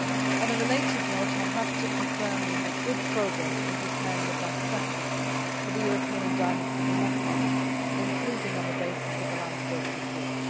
On a related note, I am happy to confirm that we are making good progress in preparing the draft statute for the European Endowment for Democracy, including on the basis of the Lambsdorff report.